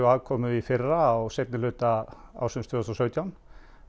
afkomu í fyrra á seinni hluta ársins tvö þúsund og sautján